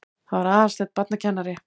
Það var Aðalsteinn barnakennari.